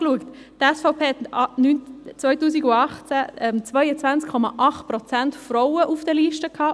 Die SVP hatte 2018 22,8 Prozent Frauen auf den Listen;